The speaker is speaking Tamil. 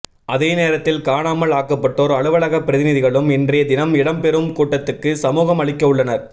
அதே நேரத்தில் காணாமல் ஆக்கப்பட்டோர் அலுவலக பிரதிநிதிகளும் இன்றைய தினம் இடம் பெறும் கூட்டத்துக்கு சமூகமளிக்கவுள்ளனர்